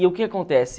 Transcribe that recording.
E o que acontece?